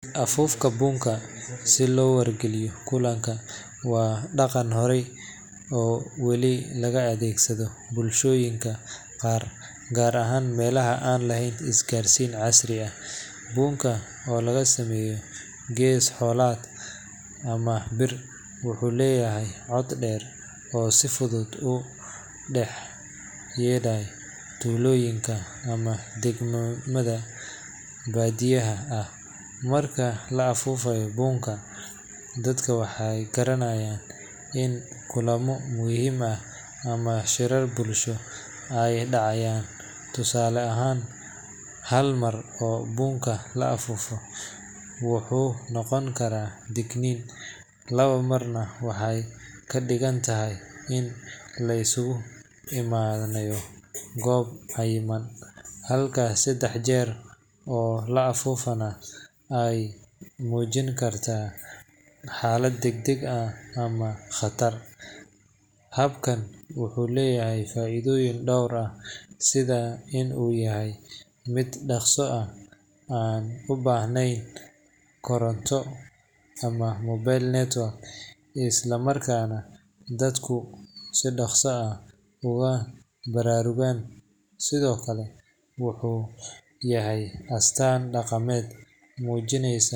Afuufta buunka si loo wargeliyo kulanka waa dhaqan hore oo weli laga adeegsado bulshooyinka qaar, gaar ahaan meelaha aan lahayn isgaarsiin casri ah. Buunka, oo laga sameeyo gees xoolaad ama bir, wuxuu leeyahay cod dheer oo si fudud uga dhex yeedhaya tuulooyinka ama deegaannada baadiyaha ah. Marka la afuufayo buunka, dadku waxay garanayaan in kulammo muhiim ah ama shirar bulsho ay dhacayaan. Tusaale ahaan, hal mar oo buunka la afuufaa wuxuu noqon karaa digniin, laba marna waxay ka dhigan tahay in la isugu imanayo goob cayiman, halka saddex jeer oo la afuufana ay muujin karaan xaalad degdeg ah ama khatar. Habkan wuxuu leeyahay faa’iidooyin dhowr ah sida in uu yahay mid dhaqso ah, aan u baahnayn koronto ama mobile network, isla markaana dadku si dhaqso ah ugu baraarugaan. Sidoo kale, wuxuu yahay astaan dhaqameed muujinaysa